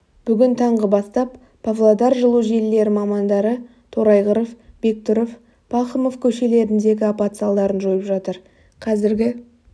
бүгін таңғы бастап павлодар жылу желілері мамандары торайғыров бектұров пахомов көшелеріндегі апат салдарын жойып жатыр қазіргі